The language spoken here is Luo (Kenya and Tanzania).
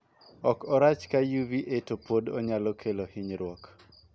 Ok orach ka 'UVA' to pod onyalo kelo hinyruok.